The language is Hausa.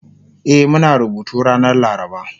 E Muna rubutu ranar laraba